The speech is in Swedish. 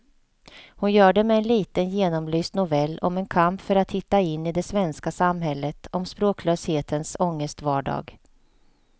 Hon gör det med en liten genomlyst novell om en kamp för att hitta in i det svenska samhället, om språklöshetens ångestvardag.